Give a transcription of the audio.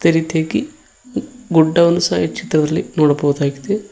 ರೀತಿಯಾಗಿ ಗುಡ್ಡವನ್ನು ಸಹ ಈ ಚಿತ್ರದಲ್ಲಿ ನೋಡಬಹುದಾಗಿದೆ.